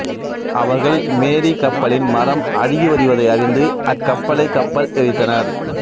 அவர்கள் மேரி கப்பலின் மரம் அழுகிவருவதை அறிந்து அக்கப்பலை கப்பல் எரித்தனர்